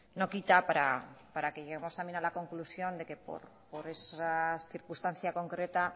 no quita para que lleguemos a la conclusión de que por esa circunstancia concreta